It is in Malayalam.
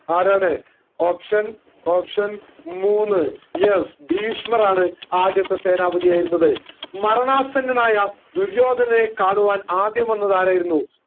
ആരാണ് option option മൂന്ന് yes ഭീഷ്മർ ആണ് ആദ്യത്തെ സേനാപതിയായിരുന്നത് മരണാസന്നനായ ദുര്യോധനനെ കാണാൻ ആദ്യം വന്നത് ആരായിരുന്നു